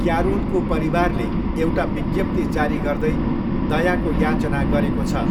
क्यारोलको परिवारले एउटा विज्ञप्ति जारी गर्दै दयाको याचना गरेको छ।